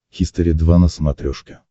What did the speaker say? хистори два на смотрешке